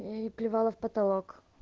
плевал в потолок